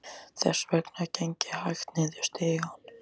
Þess vegna geng ég hægt niður stigann.